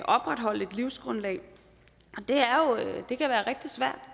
opretholde et livsgrundlag det kan